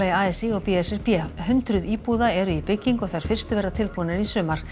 a s í og b s r b hundruð íbúða eru í byggingu og þær fyrstu verða tilbúnar í sumar